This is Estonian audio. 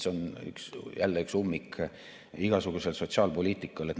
See on jälle üks ummik igasuguse sotsiaalpoliitika mõttes.